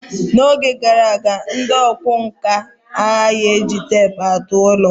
N'oge gara aga, ndị ọkwá nkà anaghị eji teepu atụ ụlọ.